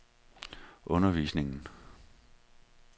undervisningen